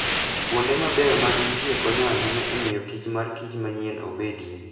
Kuonde mabeyo ma gintie konyo ahinya e miyo kich mar kich manyien obedie.